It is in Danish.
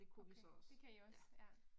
Okay, det kan I også? Ja